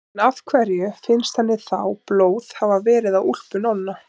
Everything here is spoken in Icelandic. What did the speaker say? En af hverju finnst henni þá blóð hafa verið á úlpu Nonna?